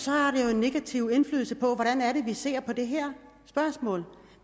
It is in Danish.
har det jo en negativ indflydelse på hvordan vi ser på det her spørgsmål